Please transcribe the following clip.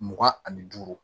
Mugan ani duuru